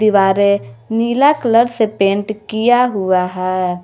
दीवारें नीला कलर से पेंट किया हुआ है।